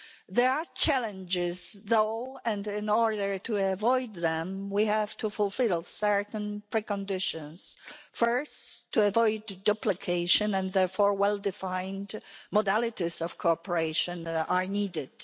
There are challenges, though, and in order to avoid them we have to fulfil certain preconditions first to avoid duplication, and therefore well-defined modalities of cooperation that are needed.